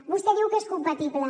vostè diu que és compatible